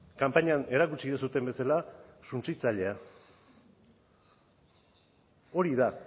kanpainan erakutsi duzuen bezala suntsitzailea hori da